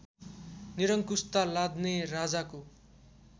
निरंकुशता लाद्ने राजाको